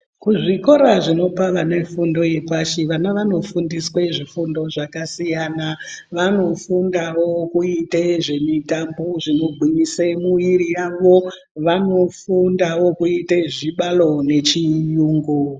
Kuzvikora zvinopa vanefundo yepashi vana vanofundiswe zvifundo zvakasiyana vanofundawo kuite zvemitambo zvinogwinyise mwiiri yavo vanofundawo kuite zvibaro nechiyungu.